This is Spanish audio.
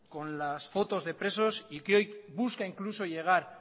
con las fotos de presos y que hoy busca incluso llegar